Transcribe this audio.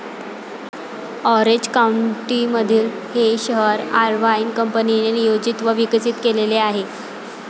Orange काउंटीमधील हे शहर अर्व्हाइन कंपनीने नियोजित व विकसित केलेले आहे.